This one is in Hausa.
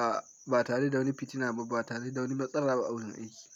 A ba tare da wani fitina ba, ba tare da wani matsala ba a wurin aiki.